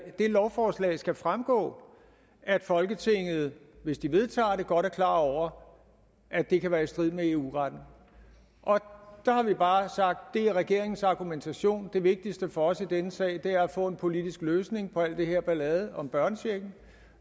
af det lovforslag skal fremgå at folketinget hvis det vedtager det godt er klar over at det kan være i strid med eu retten der har vi bare sagt at det er regeringens argumentation det vigtigste for os i denne sag er at få en politisk løsning på al den her ballade om børnechecken